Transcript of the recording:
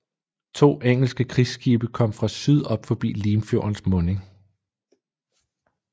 To engelske krigsskibe kom fra syd op forbi Limfjordens munding